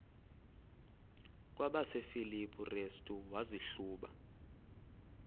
kwabasefilipi restu wazihluba